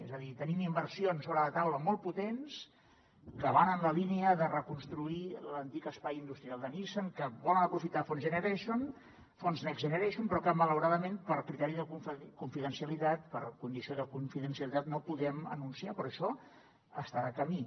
és a dir tenim inversions sobre la taula molt potents que van en la línia de reconstruir l’antic espai industrial de nissan que volen aprofitar fons next generation però que malauradament per criteri de confidencialitat per condició de confidencialitat no podem anunciar però això està de camí